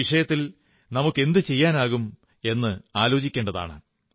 ഈ വിഷയത്തിൽ നമുക്കെന്തു ചെയ്യാനാകും എന്നത് ആലോചിക്കേണ്ടതാണ്